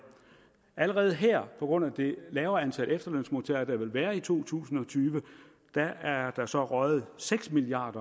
allerede her på grund af det lavere antal efterlønsmodtagere der vil være i to tusind og tyve er der så røget seks milliard